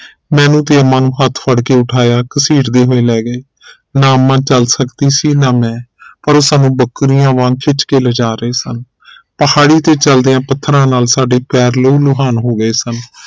ਮੈਨੂੰ ਤੇ ਅੰਮਾ ਨੂੰ ਹੱਥ ਫੜਕੇ ਉਠਾਇਆ ਘਸੀਟਦੇ ਹੋਏ ਲੈ ਗਏ ਨਾ ਅੰਮਾ ਚਾਲ ਸਕਦੀ ਸੀ ਨਾ ਮੈਂ ਪਰ ਉਹ ਸਾਨੂ ਬੱਕਰੀਆਂ ਵਾਂਗ ਖਿੱਚ ਕੇ ਲਿਜਾ ਰਹੇ ਸਨ ਪਹਾੜੀ ਤੇ ਚਲਦਿਆ ਪੱਥਰਾਂ ਨਾਲ ਸਾਡੇ ਪੈਰ ਲਹੂ ਲੁਹਾਨ ਹੋ ਗਏ ਸਨ